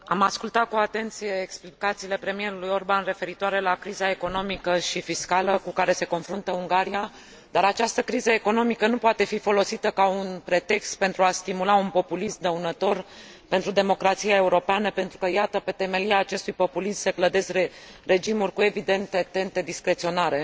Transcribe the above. Am ascultat cu atenție explicațiile premierului Orbán referitoare la criza economică și fiscală cu care se confruntă Ungaria, dar această criză economică nu poate fi folosită ca un pretext pentru a stimula un populism dăunător pentru democrația europeană, pentru că iată, pe temelia acestui populism se clădesc regimuri cu evidente tente discreționare.